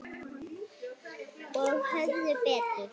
Og höfðu betur.